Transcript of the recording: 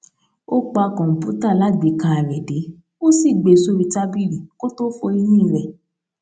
ó pa kòǹpútà alágbèéká rè dé ó sì gbé e sórí tábìlì kó tó fọ eyín rè